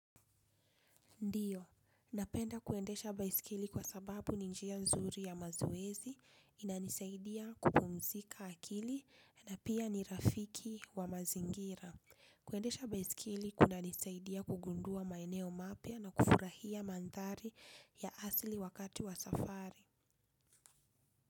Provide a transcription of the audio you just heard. Ndiyo, napenda kuendesha baiskeli kwa sababu ni njia nzuri ya mazoezi, inanisaidia kupumzika akili, na pia ni rafiki wa mazingira. Kuendesha baiskeli kunanisaidia kugundua maeneo mapya na kufurahia mandhari ya asili wakati wa safari.